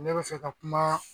Ne be fɛ ka kuma